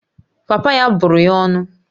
Papa ya bụrụ ya ọnụ